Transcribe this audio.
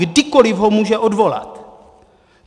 Kdykoli ho může odvolat.